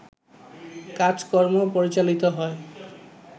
কাজকর্ম পরিচালিত হয়